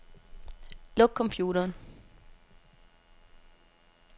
Luk computeren.